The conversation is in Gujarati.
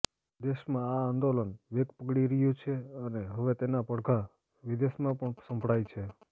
દેશમાં આ આંદોલન વેગ પકડી રહ્યું છે અને હવે તેના પડઘા વિદેશમાં પણ સંભળાય છે